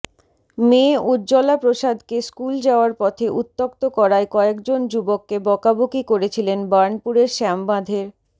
মেয়ে উজ্জলা প্রসাদকে স্কুল যাওয়ার পথে উত্যক্ত করায় কয়েকজন যুবককে বকাবকি করেছিলেন বার্নপুরের শ্যামবাঁধের